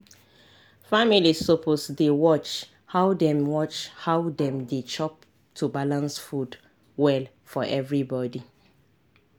families suppose dey watch how dem watch how dem dey chop to balance food well for everybody.